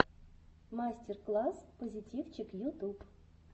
мастер класс позитивчик ютуб